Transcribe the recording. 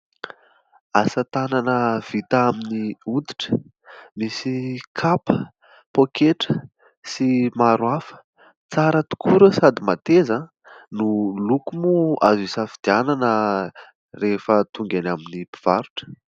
Asa-tanana vita amin'ny hoditra misy kapa, poketra sy maro hafa; tsara tokoa ireo sady mateza, ny loko moa azo isafidianana rehefa tonga any amin'ny mpivarotra.